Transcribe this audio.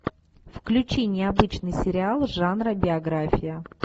включи необычный сериал жанра биография